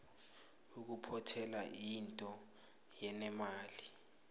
ukuphothela yinto enemali